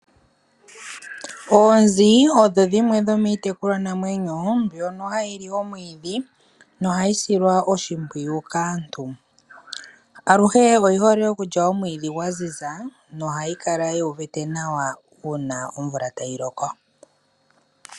Oonzi odho dhimwe dhomiitekulwanamwenyo mbyono hayi li omwiidhi nohayi silwa oshimpwiyu kaantu. Aluhe odhi hole okulya omwiidhi gwa ziza nohadhi kala dhu uvite nawa uuna omvula tayi loko.